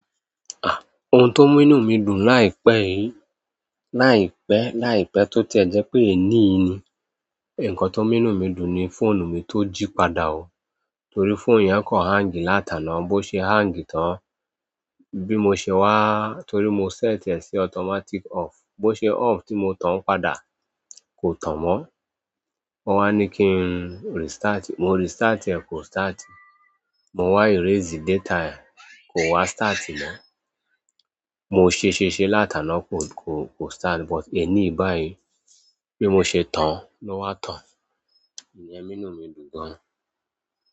Ah! Ohun tó mú inú mi dùn láìpẹ́ yìí, láìpẹ́, láìpẹ́ tó ti ẹ̀ jẹ́ pé èní ni. Ǹkan tó mú inú mi dùn ni fóònù mi tó jí padà o. Torí phoonu yẹn kò ń hang láti àná bó ṣe hang tán, bí mo ṣe wà, torí mo set e sí automatic off bo ṣe off tí mo tán padà, kò tàn mọ won wà ni kí n restart e, mo restart e, kò start mo wá erase data ẹ̀ kò wá start mọ. Mo ṣe ṣe ṣe l'átàná kò, kò, kò start. But èní báyìí, bí mo ṣe tán, ló wá tàn. Ìyẹn mú inú mi dùn gan ni.